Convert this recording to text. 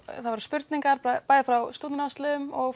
það voru spurningar bæði frá stúdentaráðsliðum og